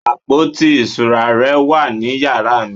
àpótí ìṣura rẹ wà ní yàrá mi